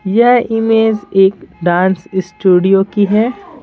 यह इमेज एक dance studio की है।